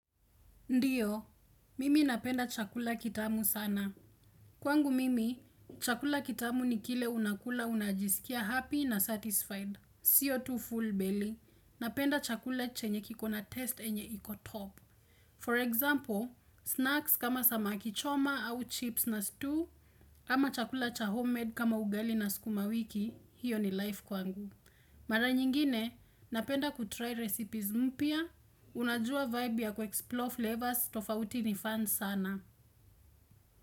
Ndiyo, mimi napenda chakula kitamu sana. Kwangu mimi, chakula kitamu ni kile unakula unajisikia happy na satisfied. Sio tu full belly, napenda chakula chenye kikona test yenye iko top. For example, snacks kama samaki choma au chips na stew, ama chakula cha homemade kama ugali na skuma wiki, hiyo ni life kwangu. Mara nyingine, napenda kutry recipes mpya, Unajua vibe ya kuexplore flavors tofauti nifan sana.